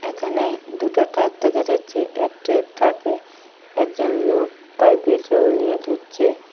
এখানে দুটো ট্রাক দেখা যাচ্ছে একটি ট্রাকে একজন লোক পাইপের জল নিয়ে ধুচ্ছে।